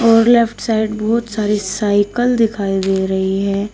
और left side बहुत सारी साइकल दिखाई दे रही है।